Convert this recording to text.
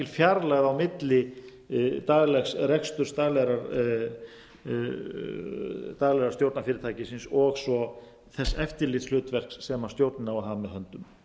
fjarlægð á milli daglegs reksturs daglega stjórnarfyrirtækisins og svo þess eftirlitshlutverks sem stjórnin á að hafa með höndum